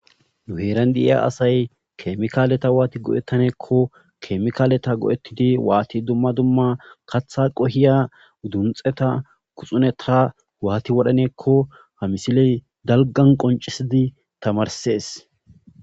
nuheeran deiya asay kemikaaleta waati godettaneekko kemikaaleta go7ettidi waati dumma dumma katha qohiya udunxeta kuxuneta waati wodhaneekko ha misiley dalgan qoncisidi tamarsees